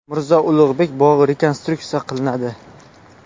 Mirzo Ulug‘bek bog‘i rekonstruksiya qilinadi.